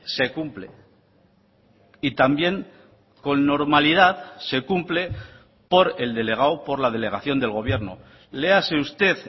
se cumple y también con normalidad se cumple por el delegado por la delegación del gobierno léase usted